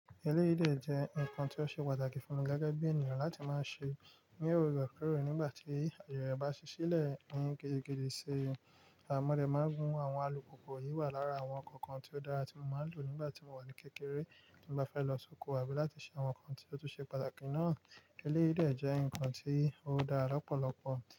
Ẹlẹ́yi de jẹ́ nǹkan tí ó ṣe pàtàkì fún mi gẹ́gẹ́ bí ènìyàn láti máa ṣe ní òrekore nígbà tí àyè rẹ̀ bá ṣí sílẹ̀ ní gidi gídì ṣi. Àmọ́ ẹlẹ́ máa ń mu àwọn alùpùpù yìí wà lára àwọn ǹkan kan tí ó dára tí mo máa ń lò nígbà tí mo wà ní kékeré nígbà tí mo bá fẹ́ lọ sóko àbí láti ṣe àwọn ǹkan tí ó tún ṣe pàtàkì náà. Ẹlẹ́rìí jẹ́ ǹkan tí ó dára lọ́pọ̀lọpọ̀